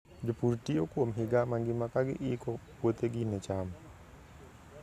Jopur tiyo kuom higa mangima ka giiko puothegi ne cham.